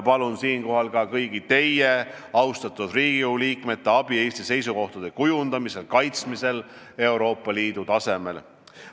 Palun siinkohal ka kõigi teie, austatud Riigikogu liikmete abi Eesti seisukohtade kujundamisel ja kaitsmisel Euroopa Liidu tasemel.